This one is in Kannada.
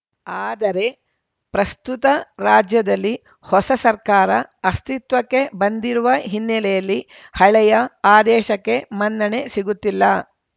ಆದರೆ ಪ್ರಸ್ತುತ ರಾಜ್ಯದಲ್ಲಿ ಹೊಸ ಸರ್ಕಾರ ಅಸ್ತಿತ್ವಕ್ಕೆ ಬಂದಿರುವ ಹಿನ್ನೆಲೆಯಲ್ಲಿ ಹಳೆಯ ಆದೇಶಕ್ಕೆ ಮನ್ನಣೆ ಸಿಗುತ್ತಿಲ್ಲ